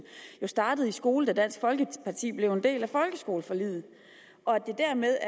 startede i skole da dansk folkeparti blev en del af folkeskoleforliget det er dermed